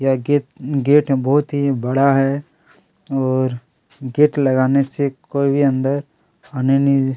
यह gate gate है बहुत ही बड़ा है और गेट लगाने से कोई भी अंदर आने नइ --